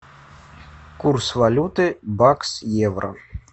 курс валюты бакс евро